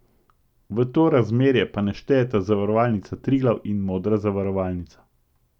V to razmerje pa ne štejeta Zavarovalnica Triglav in Modra zavarovalnica.